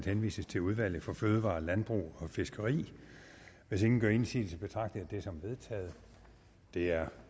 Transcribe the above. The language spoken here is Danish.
henvises til udvalget for fødevarer landbrug og fiskeri hvis ingen gør indsigelse betragter jeg det som vedtaget det er